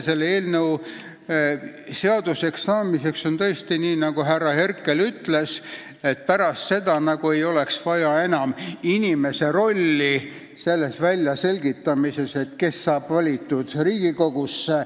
Selle eelnõu seaduseks saamise korral oleks tõesti nii, nagu härra Herkel ütles, et pärast seda poleks enam vaja inimese rolli selle väljaselgitamises, kes saab valitud Riigikogusse.